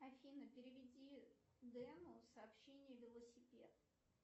афина переведи дену сообщение велосипед